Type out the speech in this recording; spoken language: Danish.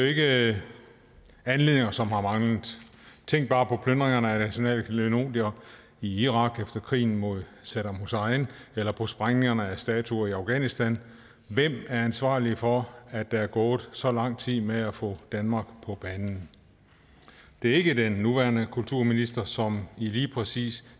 ikke anledninger som har manglet tænk bare på plyndringerne af nationale klenodier i irak efter krigen mod saddam hussein eller på sprængningerne af statuer i afghanistan hvem er ansvarlig for at der er gået så lang tid med at få danmark på banen det er ikke den nuværende kulturminister som i lige præcis